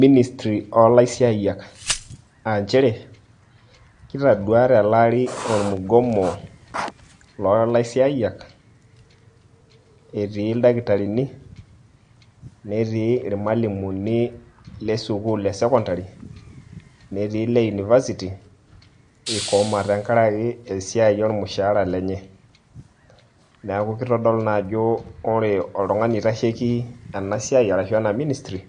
Ministry o laisiayiak. Ah njere, kitadua tele ari ormugomo lo laisiayiak [] etii dakitarini, netii ilmalimuni le sukuul esekondari, netii le university, ikoma tenkaraki esiai ormushaara lenye. Neeku kitodolu naa ajo ore oltung'ani oitasheki enasiai arashu ena Ministry